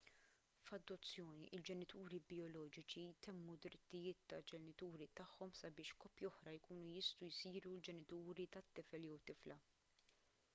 f’adozzjoni il-ġenituri bijoloġiċi itemmu d-drittijiet tal-ġenituri tagħhom sabiex koppja oħra jkunu jistgħu jsiru l-ġenituri tat-tifel/tifla